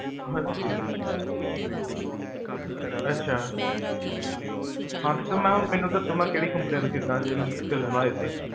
ਹਾਂਜੀ, ਅਛਾ, ਹਾਂ ਤੇ ਸਰ ਮੈਂ ਹੁਣ ਮੈਨੂ ਦੱਸੋ, ਮੈਂ ਕੇਹੜੀ ਕੰਪਨੀ ਦਾ ਖ੍ਰੀਦਾ